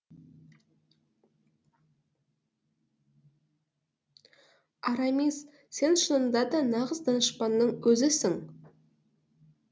арамис сен шынында да нағыз данышпанның өзісің